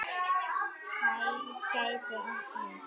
Hæð getur átt við